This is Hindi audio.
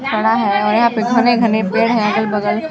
है यहाँ पर घने - घने पेड़ है अगल - बगल --